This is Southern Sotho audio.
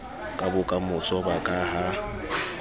ka bokamoso ba ka ha